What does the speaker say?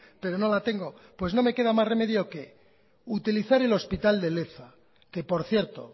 pero no la tengo pues no me queda más remedio que utilizar el hospital de leza que por cierto